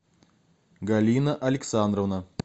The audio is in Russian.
галина александровна